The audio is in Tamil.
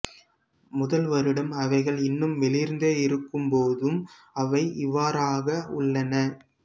முதல் வருடம் அவைகள் இன்னும் வெளிர்ந்தே இருக்கும் போதும் அவை இவ்வாறாக உள்ளன